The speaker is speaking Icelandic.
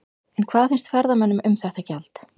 En hvað finnst ferðamönnum um þetta gjald?